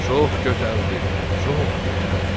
Çox gözəldir, çox gözəldir.